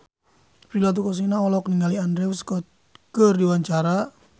Prilly Latuconsina olohok ningali Andrew Scott keur diwawancara